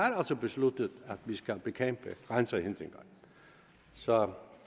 besluttet at vi skal bekæmpe grænsehindringer så